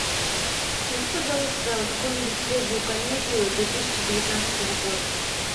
найди пожалуйста какую нибудь свежую комедию две тысячи девятнадцатого года